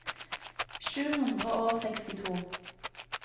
sju hundre og sekstito